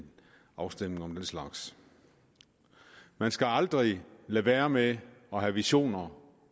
afstemning om den slags man skal aldrig lade være med at have visioner